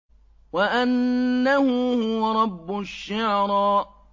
وَأَنَّهُ هُوَ رَبُّ الشِّعْرَىٰ